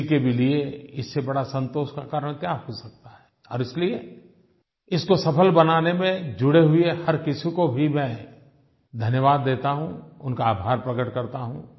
किसी के भी लिये इससे बड़ा संतोष का कारण क्या हो सकता है और इसलिए इसको सफल बनाने में जुड़े हुए हर किसी को भी मैं धन्यवाद देता हूँ उनका आभार प्रकट करता हूँ